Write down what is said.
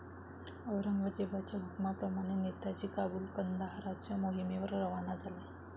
औरंगजेबाच्या हुकुमाप्रमाणे नेताजी काबुल कंदाहाराच्या मोहिमेवर रवाना झाले.